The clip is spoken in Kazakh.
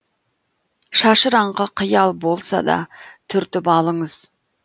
шашыраңқы қиял болса да түртіп алыңыз